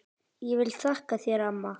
Ég vil þakka þér amma.